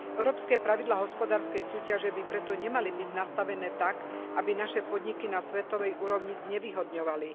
Európske pravidlá hospodárskej súťaže by preto nemali byť nastavené tak, aby naše podniky na svetovej úrovni znevýhodňovali.